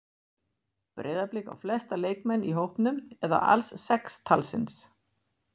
Breiðablik á flesta leikmenn í hópnum eða alls sex talsins.